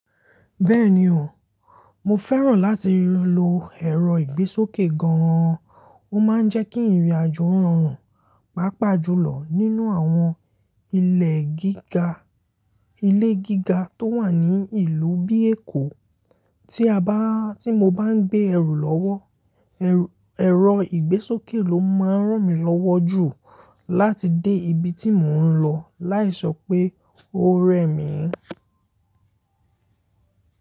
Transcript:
Bẹ́ẹ̀ni o, mo fẹ́ràn láti lo ẹ̀rọ ìgbésókè gan-an, ó máa ń jẹ́ kí ìrìn-àjò rọrùn. Pàápàá jùlọ nínú àwọn ilẹ̀ gíga, ilé gíga tó wà ní ìlú bíi Èkó. Tí a bá, tí mo bá ń gbé ẹrù lọ́wọ́, ẹ̀rọ ìgbésókè ló máa ń ràn mí lọ́wọ́ jù láti dé ibi tí mò ń lọ láì sọ pé ó rẹ mi.